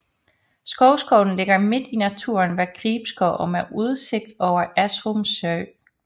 Skovskolen ligger midt i naturen ved Gribskov og med udsigt over Esrum sø